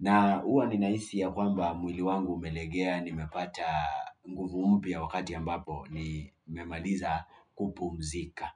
na huwa ninahisi ya kwamba, mwili wangu umelegea nimepata nguvu mpya wakati ambapo nimemaliza kupumzika.